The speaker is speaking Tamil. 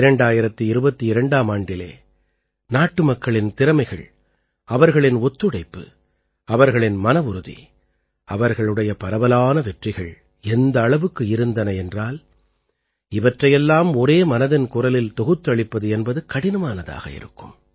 2022ஆம் ஆண்டிலே நாட்டுமக்களின் திறமைகள் அவர்களின் ஒத்துழைப்பு அவர்களின் மனவுறுதி அவர்களுடைய பரவலான வெற்றிகள் எந்த அளவுக்கு இருந்தன என்றால் இவற்றையெல்லாம் ஒரே மனதின் குரலில் தொகுத்தளிப்பது என்பது கடினமானதாக இருக்கும்